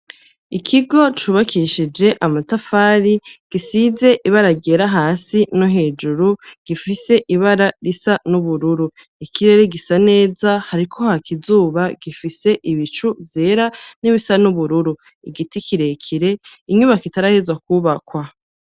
Ikigo cubakishije amatafari, gisize ibara ryera hasi, no hejuru gifise ibara risa n'ubururu; ikirere gisa neza, hariko haka izuba, gifise ibicu vyera n'ibisa n'ubururu; igiti kirekire, inyubako itarahezwa kubakwa.